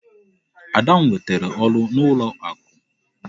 Ada nwetara ọrụ n'ụlọ akụ.